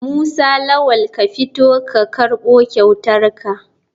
Musa lawal ka fito ka karbo kyautarka.